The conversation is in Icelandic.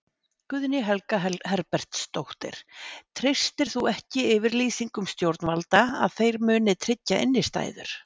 Guðný Helga Herbertsdóttir: Treystir þú ekki yfirlýsingum stjórnvalda að þeir muni tryggja innistæður?